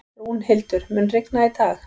Rúnhildur, mun rigna í dag?